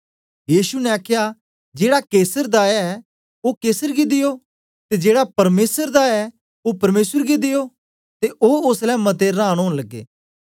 यीशु ने आखया जेड़ा कैसर दा ऐ ओ कैसर गी देयो ते जेड़ा परमेसर दा ऐ ओ परमेसर गी देयो ते ओ ओसलै मते रांन होन लग्गे